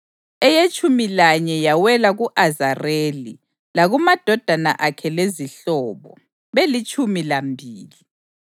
eyetshumi lanye yawela ku-Azareli, lakumadodana akhe lezihlobo, belitshumi lambili;